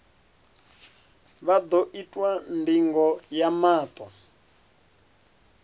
vha ḓo itwa ndingo ya maṱo